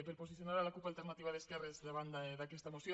per posicionar la cup alternativa d’esquerres davant d’aquesta moció